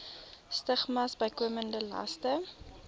stigmas bykomende laste